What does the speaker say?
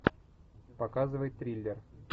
показывай триллер